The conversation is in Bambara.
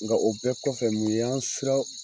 Nka o bɛɛ kɔfɛ mun y'an siran